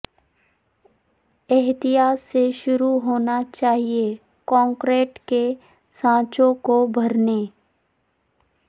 احتیاط سے شروع ہونا چاہئے کنکریٹ کے سانچوں کو بھرنے